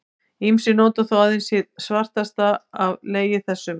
Ýmsir nota þó aðeins hið svartasta af legi þessum.